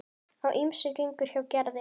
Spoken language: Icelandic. Á ýmsu gengur hjá Gerði.